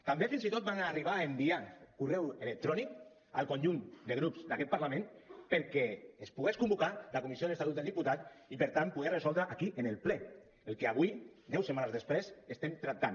també fins i tot vam arribar a enviar correus electrònics al conjunt de grups d’aquest parlament perquè es pogués convocar la comissió de l’estatut del diputat i per tant poder resoldre aquí en el ple el que avui deu setmanes després estem tractant